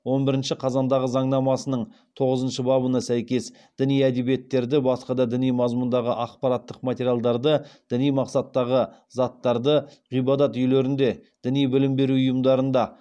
он бірінші қазандағы заңнамасының тоғызыншы бабына сәйкес діни әдебиеттерді басқа да діни мазмұндағы ақпараттық материалдарды діни мақсаттағы заттарды ғибадат үйлерінде діни білім беру ұйымдарында